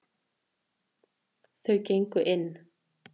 Þau gengu inn.